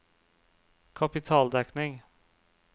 kapitaldekning